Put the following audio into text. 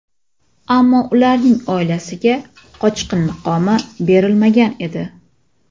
Ammo ularning oilasiga qochqin maqomi berilmagan edi.